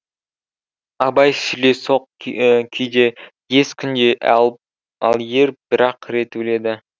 абай сүлесоқ күйде ез күнде ал ер бір ақ рет өледі